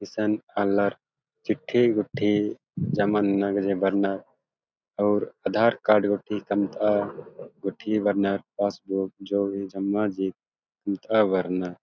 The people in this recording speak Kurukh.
ईसन आलर चिट्ठी गुट्ठी जम्मा निन्ना जे बरनःअर अऊर आधार कार्ड गुट्ठी कम्ता गुट्ठी बरनःअर पास बुक जो जम्मा जी ईन्तरा बरनःअर---